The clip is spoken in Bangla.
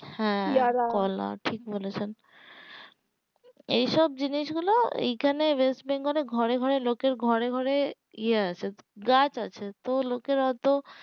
হ্যাঁ কলা ঠিক বলেছেন এইসব জিনিস গুলো এইখানে ওয়েস্ট বেঙ্গল এ ঘরে ঘরে লোকের ঘরে ঘরে ইয়ে আছে গাছ আছে তো লোকের অতো